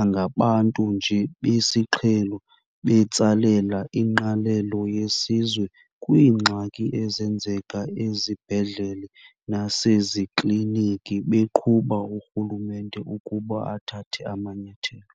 angabantu nje besiqhelo betsalela ingqalelo yesizwe kwiingxaki ezenzeka ezibhedlele nasezikliniki, beqhuba urhulumente ukuba athathe amanyathelo.